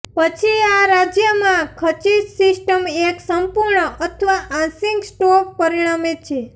પછી આ રાજ્યમાં ખચીત સિસ્ટમ એક સંપૂર્ણ અથવા આંશિક સ્ટોપ પરિણમે છે